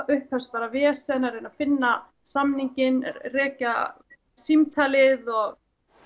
upphófst bara vesen að reyna að finna samninginn rekja símtalið og